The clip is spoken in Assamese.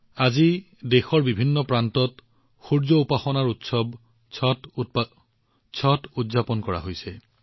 আজি দেশৰ বিভিন্ন প্ৰান্তত সূৰ্য উপাসনাৰ মহান উৎসৱ ষট উদযাপন কৰা হৈছে